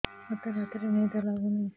ମୋତେ ରାତିରେ ନିଦ ଲାଗୁନି